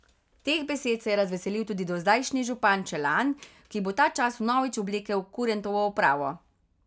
Teh besed se je razveselil tudi dozdajšnji župan Čelan, ki bo ta čas vnovič oblekel kurentovo opravo.